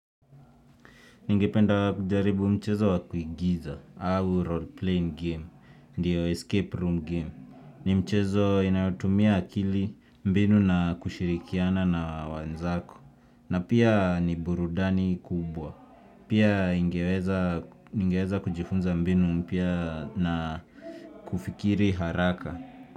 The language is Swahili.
Ningependa kujaribu mchezo wakuigiza, au role playing game, ndiyo escape room game. Nimchezo inayotumia akili mbinu na kushirikiana na wenzako. Na pia ni burudani kubwa. Pia ingeweza ningeweza kujifunza mbinu mpya na kufikiri haraka.